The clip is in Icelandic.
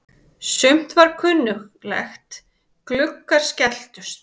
Sumt var kunnuglegt: Gluggar skelltust.